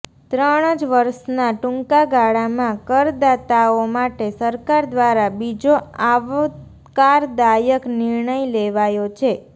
ત્રણ જ વર્ષના ટૂંકાગાળામાં કરદાતાઓ માટે સરકાર દ્વારા બીજો આવકારદાયક નિર્ણય લેવાયો છે